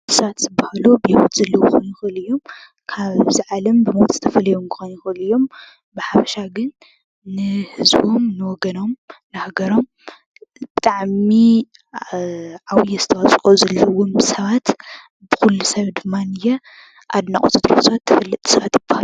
ሰባት ዝባሃሉ ብሂወት ዘሎ ክኾን ይኽእል እዩ ካብዛዓለም ብሞት ተፈሊዮም ክኾኑ ይኽእሉ እዮም፡፡ ብሓፈሻ ግን ንህዝቦም፣ ንወገኖም ፣ንሃገሮም ብጣዕሚ ዓብይ ኣስተዋፅኦ ዘለዎም ሰባት ኩሉ ሰብ ድማንየ ኣድናቆቱ እንትገልፅ ሰባት ይባሃሉ፡፡